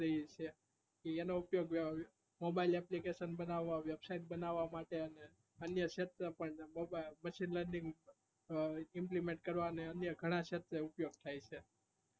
એનો ઉપયોગ mobile application બનાવ website બનાવ માટે અને અન્ય અનેક શેત્રે પણ machine learningimplement કરવા માટે અનેઘણા શેત્રે ઉપયોગ થાય છે